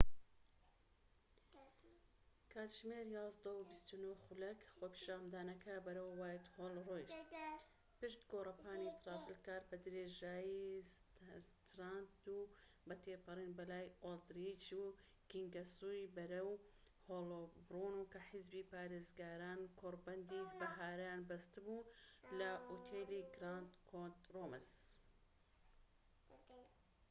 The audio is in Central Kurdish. کاتژمێر ١١:٢٩ خۆپیشاندانەکە بەرەو وایتهۆڵ ڕۆیشت، پشت گۆرەپانی ترافلگار، بە درێژایی ستراند و بە تێپەڕین بەلای ئۆلدریچ و کینگسوەی بەرەو هۆلبۆرن کە حیزبی پارێزگاران کۆڕبەندی بەهارەیان بەستبوو لە ئوتێلی گراند کۆنۆت روومز